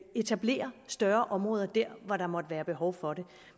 etablere større områder der hvor der måtte være behov for det